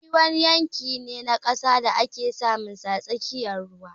Tsibiri wani yanki ne na ƙasa da ake samunsa a tsakiyar ruwa